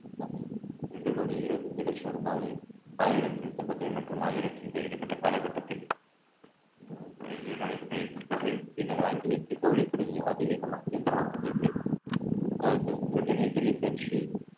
இரண்டு கோடியே இருபத்தஞ்சு லட்ச ரூபாயை ஆயிரத்தி நூத்தி பத்து மற்றும் ஆயிரத்து காலகட்டத்தில் நடைபெற்ற இந்த தொகையின் பின்னர் ஆங்கிலத்தில் அதிவேகமாக இயந்திரமாக உதவியது அஹ் பிரிட்டனின் தொழிற் பயிற்சி